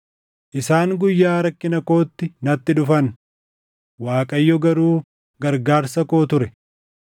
Isaan guyyaa rakkina kootti natti dhufan; Waaqayyo garuu gargaarsa koo ture.